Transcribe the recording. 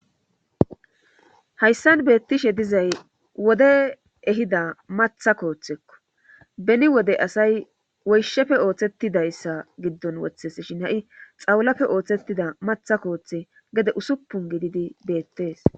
Hayssan beettishe dizay wode ehida matha kooththekko beni wode asay woyshefe ooththettidayssa giddon woththes shin ha7i xawlafe ooththettida matha kooththe gede usuppun gididi beettees.